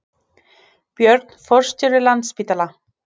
Björn forstjóri Landspítala